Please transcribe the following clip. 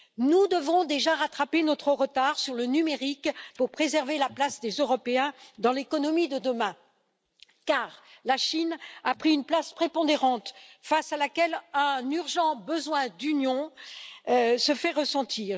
Nous devons déjà rattraper notre retard sur le numérique pour préserver la place des Européens dans l'économie de demain, car la Chine a pris une place prépondérante face à laquelle un urgent besoin d'union se fait ressentir.